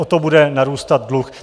O to bude narůstat dluh.